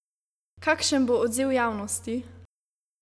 Kakšen bo odziv javnosti?